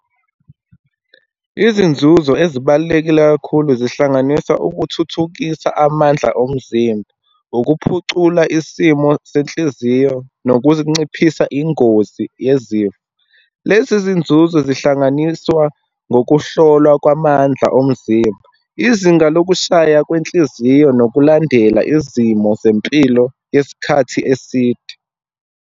Izinzuzo ezibalulekile kakhulu zihlanganisa, ukuthuthukisa amandla omzimba, ukuphucula isimo senhliziyo, nokuzinciphisa ingozi yezifo. Lezi zinzuzo zihlanganiswa ngokuhlolwa kwamandla omzimba, izinga lokushaya kwenhliziyo, nokulandela izimo zempilo yesikhathi eside.